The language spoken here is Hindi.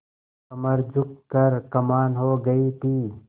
कमर झुक कर कमान हो गयी थी